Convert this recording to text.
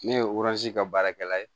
Ne ye kɛ baarakɛla ye